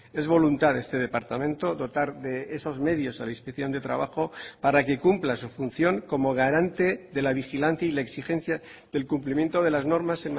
es voluntad de este departamento dotar de esos medios a la inspección de trabajo para que cumpla su función como garante de la vigilancia y la exigencia del cumplimiento de las normas